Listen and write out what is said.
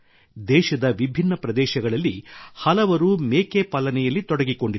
ದೇಶದ ವಿಭಿನ್ನ ಪ್ರದೇಶಗಳಲ್ಲಿ ಹಲವರು ಮೇಕೆ ಪಾಲನೆಯಲ್ಲಿ ತೊಡಗಿಕೊಂಡಿದ್ದಾರೆ